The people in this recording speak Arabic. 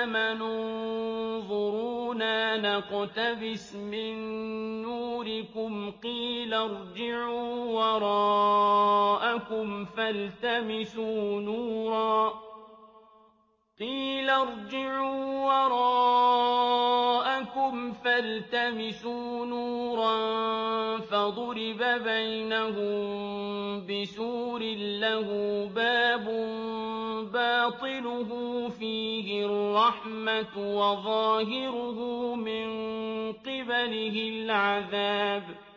آمَنُوا انظُرُونَا نَقْتَبِسْ مِن نُّورِكُمْ قِيلَ ارْجِعُوا وَرَاءَكُمْ فَالْتَمِسُوا نُورًا فَضُرِبَ بَيْنَهُم بِسُورٍ لَّهُ بَابٌ بَاطِنُهُ فِيهِ الرَّحْمَةُ وَظَاهِرُهُ مِن قِبَلِهِ الْعَذَابُ